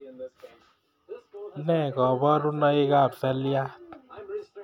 Ne koborunoikab seliat